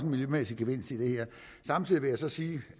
miljømæssig gevinst i det her samtidig vil jeg sige